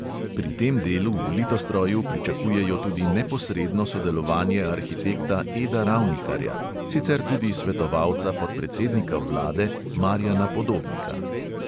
Pri tem delu v litostroju pričakujejo tudi neposredno sodelovanje arhitekta eda ravnikarja, sicer tudi svetovalca podpredsednika vlade marjana podobnika.